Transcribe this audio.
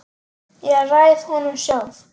Ég ræð honum sjálf.